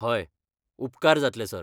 हय, उपकार जातले, सर.